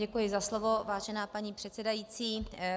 Děkuji za slovo, vážená paní předsedající.